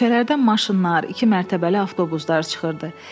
Küçələrdə maşınlar, iki mərtəbəli avtobuslar çıxırdı.